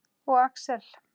Og Axel.